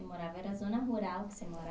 Morava, era zona rural que você